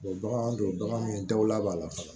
bagan don bagan min daw b'a la fana